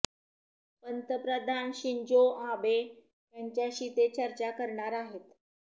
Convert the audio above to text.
पंतप्रधान Shinzo Abe यांच्याशी ते चर्चा करणार आहेत